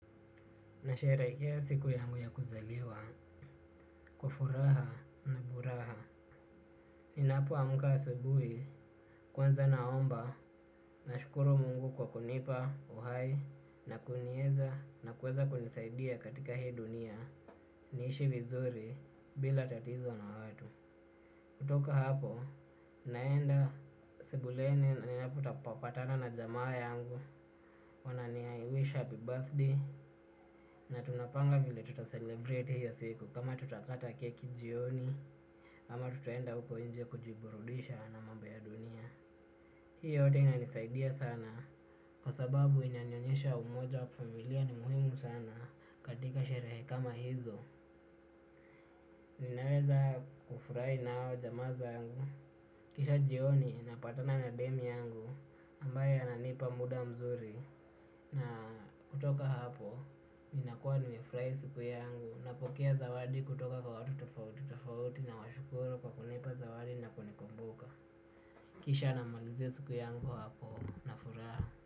Nasherehekea siku yangu ya kuzaliwa, kwa furaha na buraha. Ninapo amka asubuhi, kwanza naomba, nashukuru mungu kwa kunipa, uhai, na kunieza, na kuweza kunisaidia katika hii dunia, niishi vizuri, bila tatizo na watu. Kutoka hapo, naenda sebuleni ninapo patana na jamaa yangu. Wanani wish happy birthday. Na tunapanga vile tuta celebrate hiyo siku kama tutakata keki jioni. Ama tutuenda uko nje kujiburudisha na mambo ya dunia. Hii yote inanisaidia sana. Kwa sababu inanyonyesha umoja wa familia ni muhimu sana. Katika sherehe kama hizo ninaweza kufurahi nao jamaa zangu. Kisha jioni napatana na dem yangu ambaye ananipa muda mzuri na kutoka hapo ninakuwa nimefurahi siku yangu napokea zawadi kutoka kwa watu tofauti tofauti na washukuru kwa kunipa zawadi na kunikumbuka. Kisha namalizia siku yangu hapo na furaha.